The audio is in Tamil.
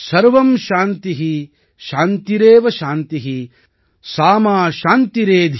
சாந்திரேவ சாந்தி ஸா மா சாந்திரேதி